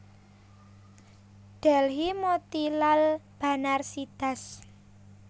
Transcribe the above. Delhi Motilal Banarsidass